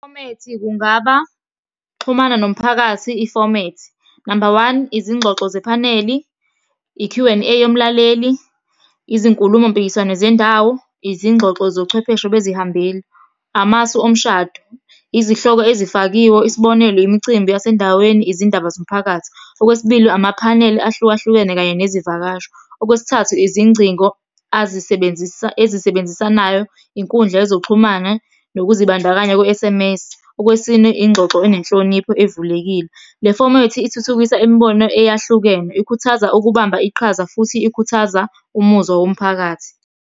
Ifomethi kungaba, ukuxhumana nomphakathi ifomethi. Number one, izingxoxo zephaneli, i-Q and A yomlaleli, izinkulumo mpikiswano zendawo, izingxoxo zochwepheshe bezihambeli, amasu omshado, izihloko ezifakiwe, isibonelo, imicimbi yasendaweni, izindaba zomphakathi. Okwesibili, amaphaneli ahlukahlukene kanye nezivakashi. Okwesithathu, izingcingo ezisebenzisanayo, inkundla yezokuxhumana nokuzibandakanya kwe-S_M_S. Okwesine, ingxoxo enenhlonipho evulekile. Le fomethi ithuthukisa imibono eyahlukene, ikhuthaza ukubamba iqhaza, futhi ikhuthaza umuzwa womphakathi.